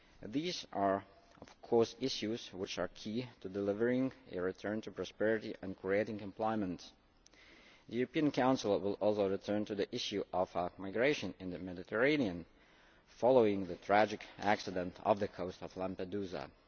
These are of course issues which are key to delivering a return to prosperity and creating employment. The European Council will also return to the issue of migration in the Mediterranean, following the tragic accident off the coast of Lampedusa.